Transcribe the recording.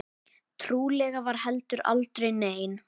Trúlega var heldur aldrei nein.